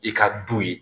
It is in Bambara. I ka du ye